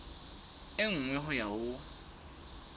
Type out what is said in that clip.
e nngwe ho ya ho